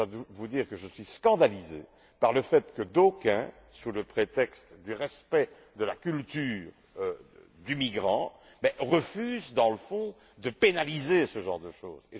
Je dois vous dire que je suis scandalisé par le fait que d'aucuns, sous le prétexte du respect de la culture du migrant, refusent dans le fond de pénaliser ce genre de choses.